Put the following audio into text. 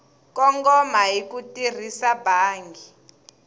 kongoma hi ku tirhisa bangi